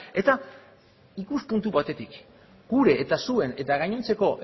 eta ikuspuntu batetik gure eta zuen eta gainontzeko